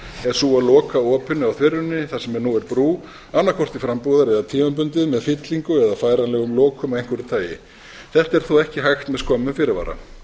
að loka opinu á þveruninni þar sem nú er brú annaðhvort til frambúðar eða tímabundið með fyllingu eða færanlegum lokum af einhverjum tagi þetta er þó ekki hægt með skömmum fyrirvara